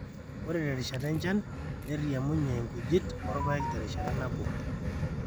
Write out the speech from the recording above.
ore terishata enchan neirriamunye inkujit orpaek terrishata nabo